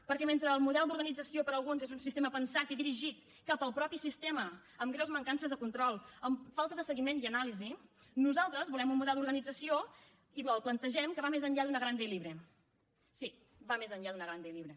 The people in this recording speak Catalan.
perquè mentre el model d’organització per alguns és un sistema pensat i dirigit cap al mateix sistema amb greus mancances de control amb falta de seguiment i anàlisi nosaltres volem un model d’organització i el plantegem que va més enllà d’ una grande y libre sí va més enllà d’ una grande y libre